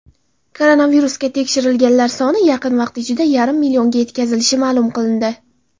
Koronavirusga tekshirilganlar soni yaqin vaqt ichida yarim millionga etkazilishi ma’lum qilindi.